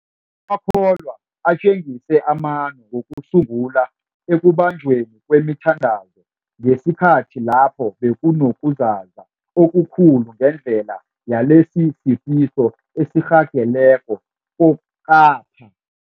akholwa atjengise amano wokusungula ekubanjweni kwemithandazo ngesikhathi lapho bekuno kuzaza okukhulu ngendlela yalesisifo esirhageleko kokapha.